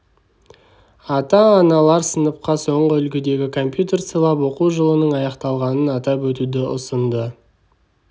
ата-аналар сыныпқа соңғы үлгідегі компьютер сыйлап оқу жылының аяқталғанын атап өтуді ұсынды